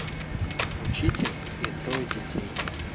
учитель и трое детей